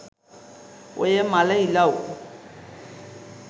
ඔය මළ ඉලව්